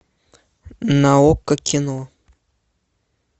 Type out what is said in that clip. на окко кино